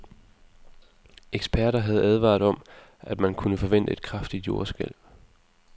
Eksperter havde advaret om, at man kunne forvente et kraftigt jordskælv.